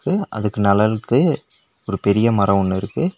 அதுக்கு நெழல்க்கு ஒரு பெரிய மரோ ஒன்னு இருக்கு.